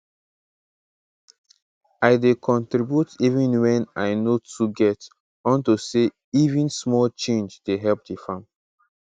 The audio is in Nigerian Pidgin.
i dey contribute even wen i no too get unto say even small change dey help di farm